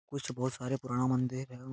कुछ बहुत सारे पुराना मंदिर एवं --